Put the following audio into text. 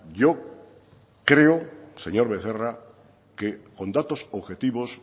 yo creo señor becerra que con datos objetivos